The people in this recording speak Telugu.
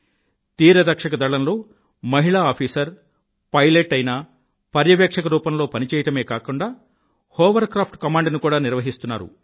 తీరరక్షక దళంలో మహిళా ఆఫీసరు పైలట్ అయినా పర్యవేక్షణ రూపంలో పనిచేయడమే కాక హోవర్క్రాఫ్ట్ కమాండ్ ని కూడా నిర్వహిస్తున్నారు